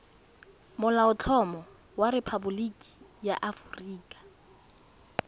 molaotlhomo wa rephaboliki ya aforika